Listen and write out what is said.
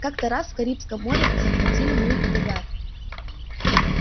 как-то раз в карибском море захватили мы фрегат